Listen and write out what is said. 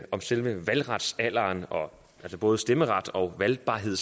om selve valgretsalderen altså både stemmeret og valgbarhed